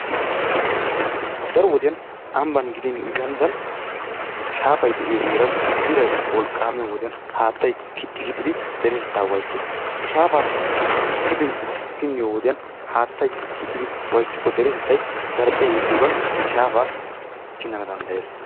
Daro wodiyaan ambban gidin ganddan shaafay de'iyo heera iray wolqaamiyo wodiyaan haattay kixxi kixxid deretteta waayises. He shaafappe ha hefintti pinniyo wodiyaani haattay kixidi waayissikko deretettay zarphphiya yegiyoggan he shaafa pinanna dandayes.